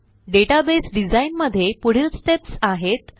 database design मध्ये पुढील steps आहेत